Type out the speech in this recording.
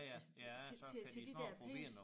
Altså til til til til de der penges